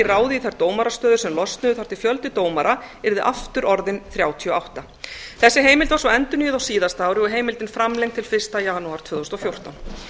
ráðið í þær dómarastöður sem losnuðu þar til fjöldi dómara yrði aftur orðinn þrjátíu og átta þessi heimild var svo endurnýjuð á síðasta ári og heimildin framlengd til fyrsta janúar tvö þúsund og fjórtán